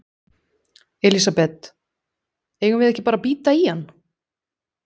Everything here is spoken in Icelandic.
Elísabet: Eigum við ekki bara að bíta í hann?